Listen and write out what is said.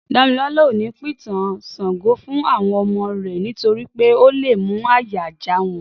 Dámilọ́la ò ní pìtàn Ṣàngó fún àwọn ọmọ rẹ̀ nítorí pé ó lé mú àyà já wọn